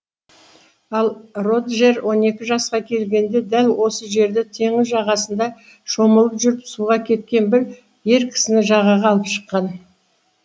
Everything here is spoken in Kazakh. ал роджер он екі жасқа келгенде дәл осы жерде теңіз жағасында шомылып жүріп суға кеткен бір ер кісіні жағаға алып шыққан